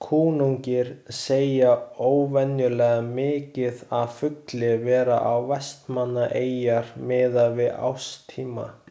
Kunnugir segja óvenjulega mikið af fugli vera við Vestmannaeyjar miðað við árstíma.